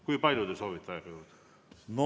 Kui palju te soovite aega juurde?